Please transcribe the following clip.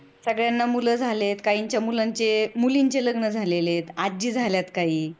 सगळ्यांना मुलं झालेत, काहींच्या मुलींचे लग्न झालेलं आहेत, आजी झालीत काही.